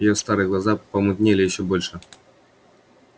её старые глаза помутнели ещё больше